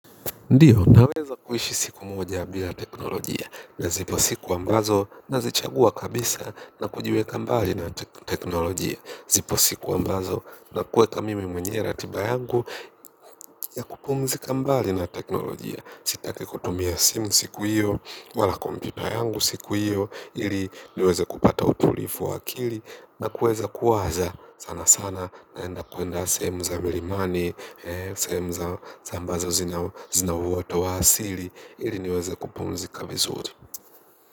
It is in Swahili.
Ndiyo, naweza kuishi siku moja bila teknolojia na zipo siku ambazo nazichagua kabisa na kujiweka mbali na teknolojia. Zipo siku ambazo na kuweka mimi mwenye ratiba yangu ya kupumziks mbali na teknoloji. Sitaki kutumia simu siku hiyo, wala kompyuta yangu siku hiyo, ili niweze kupata utulivu wa akili. Na kuweza kuwaza sana sana naenda kuenda sehemu za milimani. Sehemu za ambazo zina uwoto wa asili ili niweza kupumzika vizuri.